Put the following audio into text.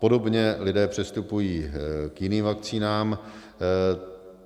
Podobně lidé přistupují k jiným vakcínám.